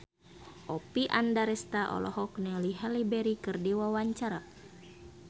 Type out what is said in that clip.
Oppie Andaresta olohok ningali Halle Berry keur diwawancara